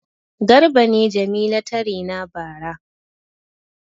Garba ne Jamila ta rena bara.